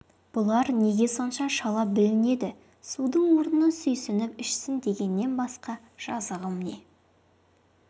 бұлар неге сонша шала бүлінеді судың орнына сүйсініп ішсін дегеннен басқа жазығым не